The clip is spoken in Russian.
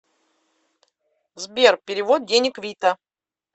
сбер перевод денег вита